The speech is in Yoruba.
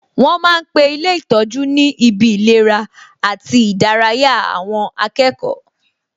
Wọn ma ń pe ilé ìtọ́jú ni ibi ìlera àti ìdárayá àwọn akẹ́kọ̀ọ́